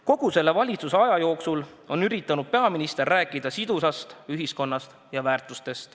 Kogu selle valitsuse ametiaja jooksul on peaminister üritanud rääkida sidusast ühiskonnast ja väärtustest.